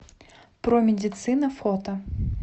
промедицина фото